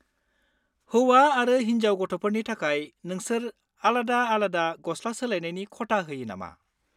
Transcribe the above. हौवा आरो होनजाव गथ'फोरनि थाखाय नोंसोर आलादा-आलादा गस्ला सोलायनायनि खथा होयो नामा?